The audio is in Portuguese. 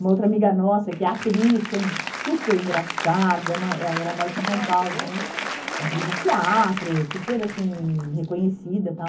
Uma outra amiga nossa que é atriz, que é super engraçada, mora eh ela mora aqui em São Paulo também, atriz de teatro, super assim, reconhecida e tal.